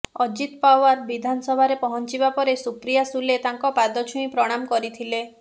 ଅଜିତ ପାୱାର ବିଧାନସଭାରେ ପହଞ୍ଚିବା ପରେ ସୁପ୍ରିୟା ସୁଲେ ତାଙ୍କ ପାଦ ଛୁଇଁ ପ୍ରଣାମ କରିଥିଲେ